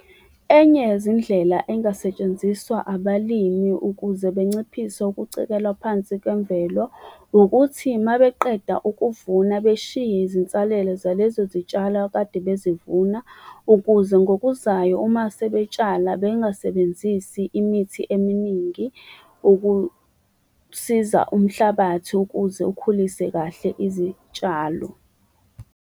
Enye yezindlela engasetshenziswa abalimi ukuze benciphise ukucekelwa phansi kwemvelo ukuthi uma beqeda ukuvuna, beshiye izinsalela zalezo zitshalo akade bezivuna ukuze ngokuzayo, uma sebetshala bengasebenzisi imithi eminingi ukusiza umhlabathi ukuze ukhulise kahle izitshalo.